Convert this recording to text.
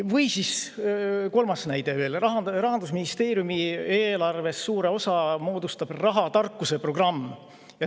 Või siis, kolmas näide veel, Rahandusministeeriumi eelarvest moodustab suure osa rahatarkuse programm.